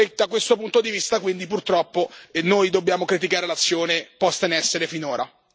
Da questo punto di vista quindi, purtroppo, noi dobbiamo criticare l'azione posta in essere finora.